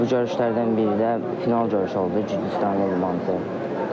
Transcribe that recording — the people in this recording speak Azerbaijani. Bu görüşlərdən biri də final görüşü oldu, Gürcüstanlı idmançı ilə.